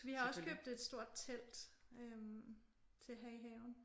Vi har også købt et stort telt øh til at have i haven